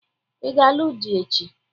Ị ga-alụ di echi?